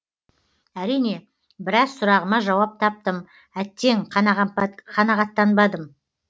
әрине біраз сұрағыма жауап таптым әттең қанағаттанбадым